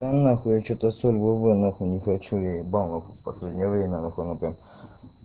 да ну нахуй я что-то соль вова нахуй не хочу я ебал последнее время оно как